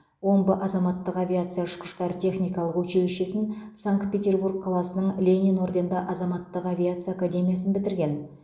омбы азаматтық авиация ұшқыштар техникалық училищесін санкт петербург қаласының ленин орденді азаматтық авиация академиясын бітірген